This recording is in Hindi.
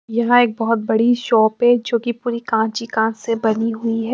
यहा एक बोहोत बड़ी शॉप है जो की पूरी काच ही काच से बनी हुई है।